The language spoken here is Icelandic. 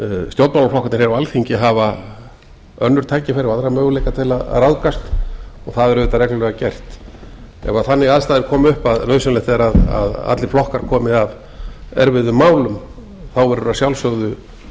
stjórnmálaflokkarnir hér á alþingi hafa önnur tækifæri og aðra möguleika til að ráðgast og það er auðvitað reglulega gert ef þannig aðstæður koma upp að nauðsynlegt er að allir flokkar komi að erfiðum málum verður að sjálfsögðu